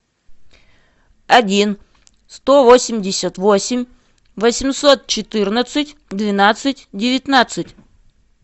один сто восемьдесят восемь восемьсот четырнадцать двенадцать девятнадцать